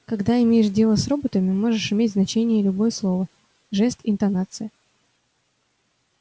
когда имеешь дело с роботами можешь иметь значение любое слово жест интонация